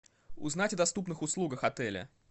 узнать о доступных услугах отеля